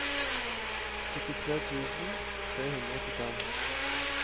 syttitre tusen tre hundre og åttifem